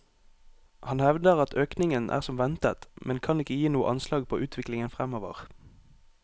Han hevder at økningen er som ventet, men kan ikke gi noe anslag på utviklingen fremover.